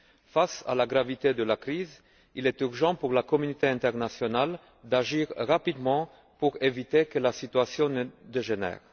Face à la gravité de la crise, il est urgent pour la communauté internationale d'agir rapidement pour éviter que la situation ne dégénère.